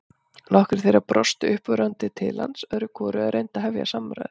Nokkrir þeirra brostu uppörvandi til hans öðru hvoru eða reyndu að hefja samræður.